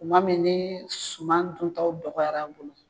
Kuma mi ni suman duntaw dɔgɔyara bolo